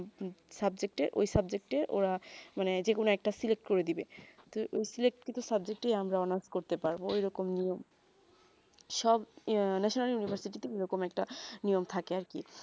subject এ ঐই subject এ ওরা মানে যে কোনো একটা select করে দিবে তো কিছু subject ই আমরা honours করতে পারবো ঐই রকম নিয়ম সব national university তে এইরকম একটা নিয়ম থাকে আর কি